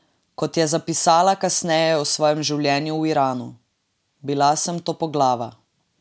Kot je zapisala kasneje o svojem življenju v Iranu: "Bila sem topoglava.